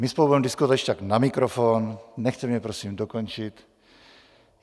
My spolu budeme diskutovat když tak na mikrofon, nechte mě prosím dokončit.